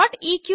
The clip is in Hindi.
eql